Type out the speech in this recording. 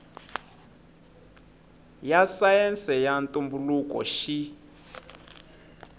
ya sayense ya ntumbuluko xi